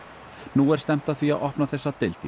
nú er stefnt að því að opna þessa deild í